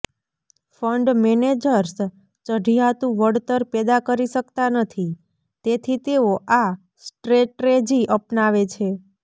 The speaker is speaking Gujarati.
ફંડ મેનેજર્સ ચઢિયાતું વળતર પેદા કરી શકતા નથી તેથી તેઓ આ સ્ટ્રેટેજી અપનાવે છે